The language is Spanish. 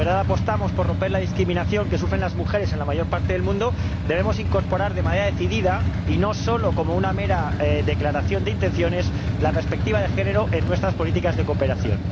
Si de verdad apostamos por romper la discriminación que sufren las mujeres en la mayor parte del mundo, debemos incorporar de manera decidida —y no solo como una mera declaración de intenciones— la perspectiva de género en nuestras políticas de cooperación.